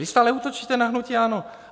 Vy stále útočíte na hnutí ANO.